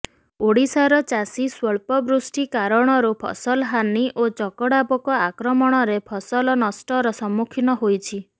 ଓଡ଼ିଶାର ଚାଷୀ ସ୍ୱଳ୍ପବୃଷ୍ଟି କାରଣରୁ ଫସଲ ହାନି ଓ ଚକଡା ପୋକ ଆକ୍ରମଣରେ ଫସଲ ନଷ୍ଟର ସମ୍ମୁଖୀନ ହୋଇଛି